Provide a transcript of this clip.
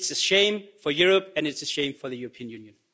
It's a shame for Europe and it's a shame for the European Union.